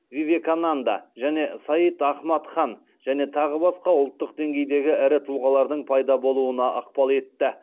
вивекананда және саид ахмад хан және тағы басқа ұлттық деңгейдегі ірі тұлғалардың пайда болуына ықпал етті